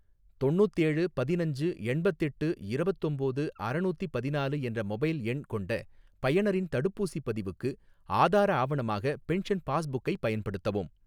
தொண்ணூத்தேழு பதினஞ்சு எண்பத்தெட்டு இரவத்தொம்போது அறநூத்தி பதினாலு என்ற மொபைல் எண் கொண்ட பயனரின் தடுப்பூசிப் பதிவுக்கு, ஆதார ஆவணமாக பென்ஷன் பாஸ்புக்கை பயன்படுத்தவும்.